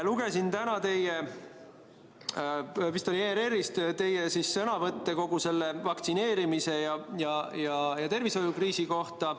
Lugesin täna teie – vist ERR-ist – sõnavõtte kogu selle vaktsineerimise ja tervishoiukriisi kohta.